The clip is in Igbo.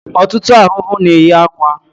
Ọtụtụ ahụhụ na-eyi akwa